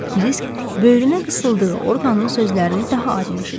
Kisk böyrünə qısıldığı orqanın sözlərini daha aydın eşidirdi.